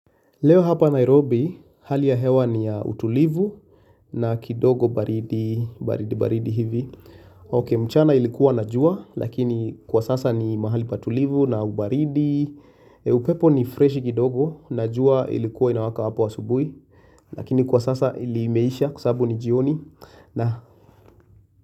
Leo hapa Nairobi hali ya hewa ni ya utulivu na kidogo baridi baridi baridi hivi mchana ilikuwa na jua lakini kwa sasa ni mahali patulivu na ubaridi. Upepo ni freshi kidogo na jua ilikuwa inawaka hapo asubuhi. Lakini kwa sasa ilimeisha kwa sababu ni jioni na.